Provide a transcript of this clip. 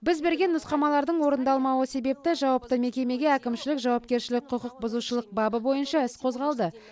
біз берген нұсқамалардың орындалмауы себепті жауапты мекемеге әкімшілік жауапкершілік құқықбұзушылық бабы бойынша іс қозғалды